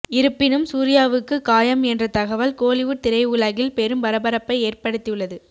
இருப்பினும் சூர்யாவுக்கு காயம் என்ற தகவல் கோலிவுட் திரைஉலகில் பெரும் பரபரப்பை ஏற்படுத்தியுள்ளது